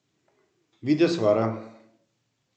Videz vara!